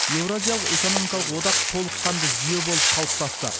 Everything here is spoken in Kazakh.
еуразиялық экономикалық одақ толыққанды жүйе болып қалыптасты